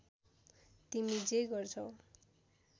तिमी जे गर्छौ